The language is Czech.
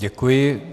Děkuji.